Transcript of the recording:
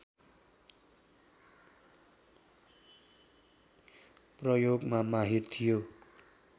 प्रयोगमा माहिर थियो